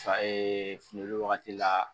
fini wagati la